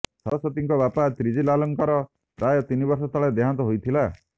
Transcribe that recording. ସରସ୍ୱତୀଙ୍କର ବାପା ତ୍ରିଜିଲାଲଙ୍କର ପ୍ରାୟ ତନି ବର୍ଷ ତଳେ ଦେହାନ୍ତ ହୋଇଥିଲା